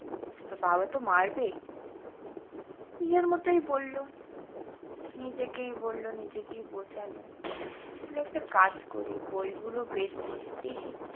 তো বাবা তো মারবে। নিজের মতই পড়লো, নিজেকেই বলল নিজেকেই বোঝালো তাহলে একটা কাজ করি বইগুলো বের করি দেখি।